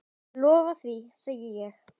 Ég lofa því, segi ég.